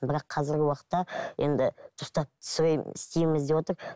бірақ қазіргі уақытта енді дұрыстап түсіремін істейміз деп отыр